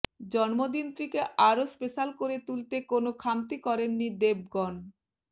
জন্মদিনটিকে আরও স্পেশ্যাল করে তুলতে কোনও খামতি করেননি দেবগণ